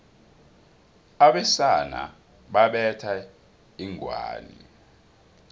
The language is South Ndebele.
abesana babetha inghwani